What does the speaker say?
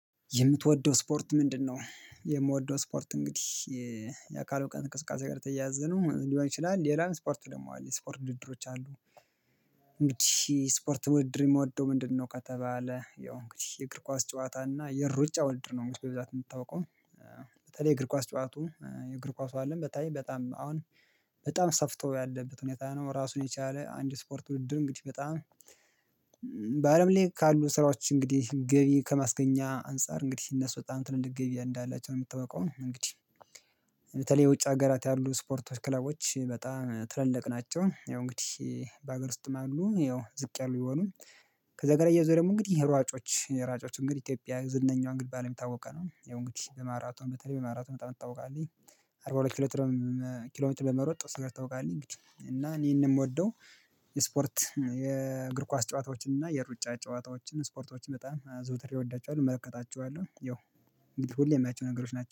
የምትወደው ስፖርት ምንድነው? የምወደው ስፖርት እንግዲህ የአካል ብቃት እንቅስቃሴ ጋር የተያያዘ ነው ሊሆን ይችላል ሌላ ስፖርት ደግሞ አለ ስፖርት ውድድሮች አሉ። እንግዲህ ስፖርት ውድድር የምወደው ምንድነው? ከተባለ ያው እንግዲህ የእግር ኳስ ጨዋታ እና የሩጫ ውድድር ነው። እንግዲህ በብዛት እንደምታውቀው በተለይ የእግር ኳስ ጨዋቱ የእግር ኳሱ አለም በተለይ በጣም አሁን በጣም ሰፍቶ ያለበት ሁኔታ ነው። ራሱን የቻለ አንድ ስፖርት ውድድር እንግዲህ በጣም በአለም ላይ ካሉ ስራዎች እንግዲህ ገቢ ከማስገኛ አንፃር እንግዲህ እነሱ በጣም ትልልቅ ገቢ እንዳላቸው ነው። የምትታወቀው እንግዲህ በተለይ የውጭ ሀገራት ያሉ ስፖርቶች ክለቦች በጣም ትልልቅ ናቸው። ያው እንግዲህ በሀገር ውስጥም አሉ ያው ዝቅ ያሉ ቢሆኑ ከዛ ጋር እያይዞ ደግሞ እንግዲህ ሯጮች ሯጮች እንግዲህ ኢትዮጵያ ዝነኛዋን እንግዲህን በአለም የሚታወቀው ነው ያው እንግዲህ በማራቶም በተለይ በማራቶም በጣም ትታወቃለኝ። አርባ ሁለት ኪሎ ትርም ኪሎ ሜትር በመሮጥ ስንት ታውቃለኝ? እና እኔንም የምወደው የስፖርት የእግር ኳስ ጨዋታዎችን እና የሩጫ ጨዋታዎችን ስፖርቶችን በጣም ዘውትሬ እወዳቸዋለሁ እመለከታቸዋለሁ። ይኸው እንግዲህ ሁሌ የማያቸው ነገሮች ናቸው